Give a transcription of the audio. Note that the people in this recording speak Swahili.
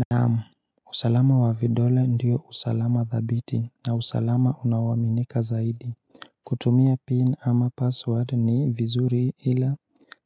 Naam usalama wa vidole ndiyo usalama dhabiti na usalama unaoaminika zaidi kutumia pin ama password ni vizuri ila